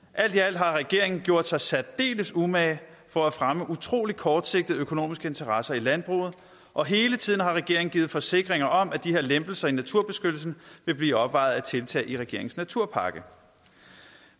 alt i alt har regeringen gjort sig særdeles umage for at fremme utrolig kortsigtede økonomiske interesser i landbruget og hele tiden har regeringen givet forsikringer om at de her lempelser af naturbeskyttelsen vil blive opvejet af tiltag i regeringens naturpakke